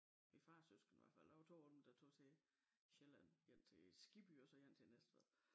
Min fars søskende i hvert fald der var 2 af dem der tog til Sjælland en til Skibby og en til Næstved